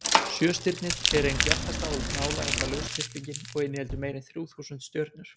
sjöstirnið er ein bjartasta og nálægasta lausþyrpingin og inniheldur meira en þrjú þúsund stjörnur